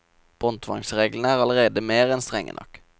Båndtvangsreglene er allerede mer enn strenge nok.